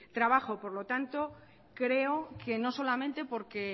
trabajo por lo tanto creo que no solamente porque